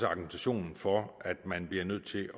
argumentationen for at man bliver nødt til